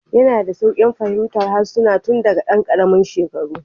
Yana da sauƙin fahimtar harsuna tun daga ɗan ƙaramin shekaru